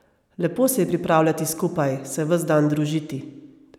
Lepo se je pripravljati skupaj, se ves dan družiti.